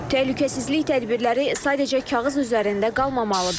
Təhlükəsizlik tədbirləri sadəcə kağız üzərində qalmamalıdır.